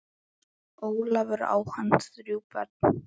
Ólafur, á hann þrjú börn.